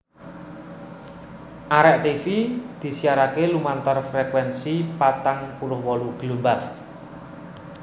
Arek tivi disiarake lumantar frekuensi patang puluh wolu gelombang